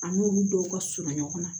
An n'olu dɔw ka surun ɲɔgɔn na